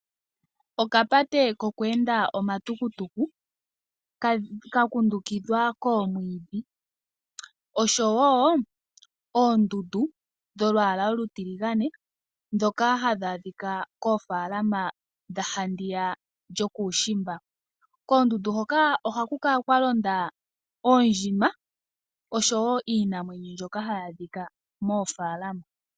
Okapate ko ku enda omatukutuku ka kundukidhwa koomwiidhi, osho wo oondundu dholwaala olutiligane ndhoka hadhi adhika koofaalama dha handiya yokuushimba. Koondundu hoka oko haku kala kwa londa oondjima osho wo iinamwenyo mbyoka hayi adhika moofaalama.